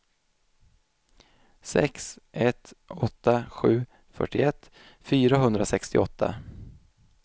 sex ett åtta sju fyrtioett fyrahundrasextioåtta